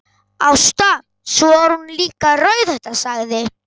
Ásta, svo er hún líka rauðhærð, sagði